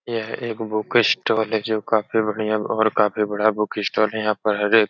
यह एक book stall है जो काफी बढ़ियां और काफी बड़ा बुक स्टोल है। यहाँ पर हर एक --